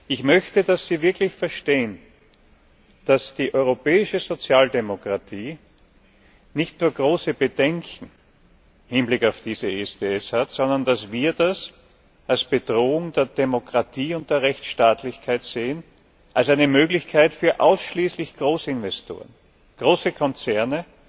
Ich möchte, dass Sie wirklich verstehen, dass die europäische Sozialdemokratie nicht nur große Bedenken im Hinblick auf dieses ISDS hat, sondern dass wir das als Bedrohung der Demokratie und der Rechtsstaatlichkeit sehen, als eine Möglichkeit ausschließlich für Großinvestoren, für große Konzerne,